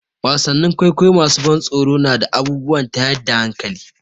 Wasannin kwaikwayon masu ban tsoro na da abubuwan tayar da hankali.